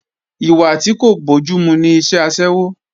Ìwà tí kò bójúmu ni iṣẹ́ aṣẹ́wó